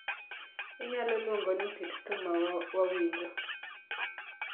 Inyalo luongo ni kit thum ma wawinjo